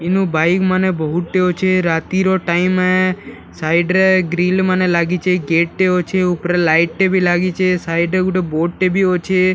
ଇନୁ ବାଇକ୍‌ ମାନେ ବହୁତ ଟେ ଅଛେ ରାତି ର ଟାଇମ୍‌ ଏ ସାଇଡ୍ ରେ ଗ୍ରିଲ ମାନେ ଲାଗିଛେ ଗେଟ୍‌ ଟେ ଅଛେ ଉପରେ ଲାଇଟ୍‌ ଟେ ବି ଲାଗିଛେ ସାଇଡ୍ ରେ ଗୁଟେ ବୋର୍ଡ ଟେ ବି ଅଛେ ଆ --